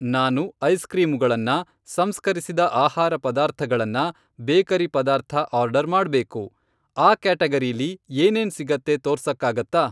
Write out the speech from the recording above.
ನಾನು ಐಸ್ಕ್ರೀಮುಗಳನ್ನ, ಸಂಸ್ಕರಿಸಿದ ಆಹಾರ ಪದಾರ್ಥಗಳನ್ನ, ಬೇಕರಿ ಪದಾರ್ಥ ಆರ್ಡರ್ ಮಾಡ್ಬೇಕು, ಆ ಕ್ಯಾಟಗರೀಲಿ ಏನೇನ್ ಸಿಗತ್ತೆ ತೋರ್ಸಕ್ಕಾಗತ್ತಾ?